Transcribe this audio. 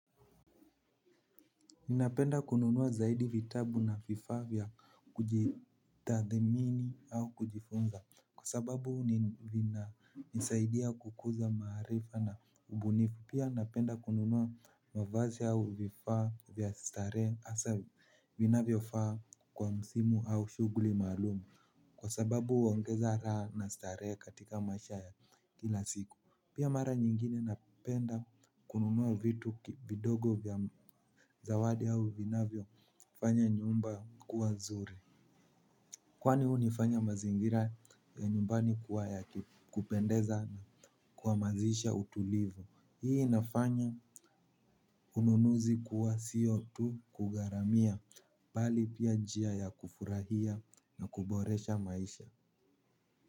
Ninapenda kununua zaidi vitabu na fifa vya kujitathamini au kujifunza kwa sababu vinanisaidia kukuza maharifa na ubunifu. Pia napenda kununua mavazi au vifaa vya stare asa vinavyo faa kwa msimu au shuguli malumu kwa sababu uongeza ra na stare katika maisha ya kila siku. Pia mara nyingine napenda kununuwa vitu bidogo vya zawadi hau vinavyo fanya nyumba kuwa zuri. Kwani huni fanya mazingira ya nyumbani kuwa ya kupendeza kuhamasisha utulivu. Hii inafanya ununuzi kuwa sio tu kugharamia mbali pia njia ya kufurahia na kuboresha maisha.